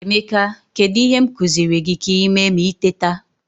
Emeka, kedu ihe m kuziri gi ka i mee ma i teta?